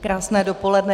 Krásné dopoledne.